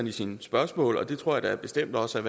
i sine spørgsmål og det tror jeg da bestemt også er